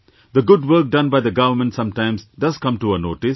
The good work done by the government sometimes does come to our notice